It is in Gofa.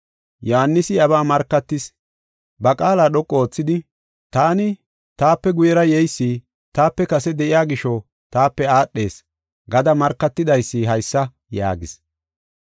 Yohaanisi iyabaa markatis. Ba qaala dhoqu oothidi, “Taani, ‘Taape guyera yeysi taape kase de7iya gisho taape aadhees’ gada markatidaysi haysa” yaagis.